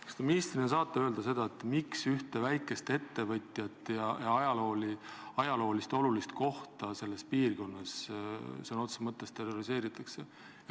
Kas te ministrina saate öelda, miks ühte väikest ettevõtjat ja olulist ajaloolist kohta selles piirkonnas sõna otseses mõttes terroriseeritakse?